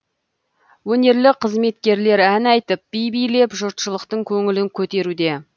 өнерлі қызметкерлер ән айтып би билеп жұртшылықтың көңілін көтеруде